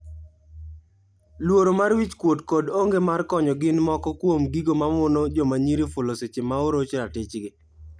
Luoro mar wich kuot kod onge mar konyo gin moko kuom gigo mamono jomanyiri fulo seche ma oroch ratich gi.